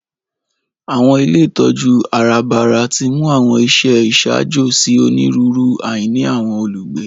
Àwọn ilé ìtójú àràbarà timú àwọn iṣẹ iṣaajo si oniruuru àìní àwọn olugbe.